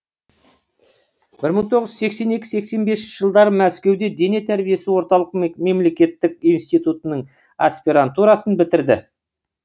бір мың тоғыз жүз сексен екі сексен бесінші жылдары мәскеуде дене тәрбиесі орталық мемлекеттік институтының аспирантурасын бітірді